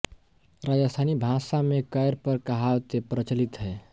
राजस्थानी भाषा में कैर पर कहावतें प्रचलित हैं